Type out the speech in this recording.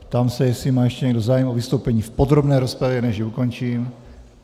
Ptám se, jestli má ještě někdo zájem o vystoupení v podrobné rozpravě, než ji ukončím.